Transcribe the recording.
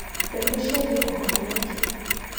Mbembe ciambia kũhoha nĩkĩ.